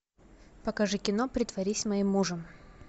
покажи кино притворись моим мужем